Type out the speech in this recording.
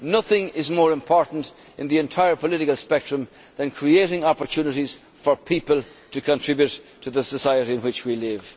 Nothing is more important in the entire political spectrum than creating opportunities for people to contribute to the society in which we live.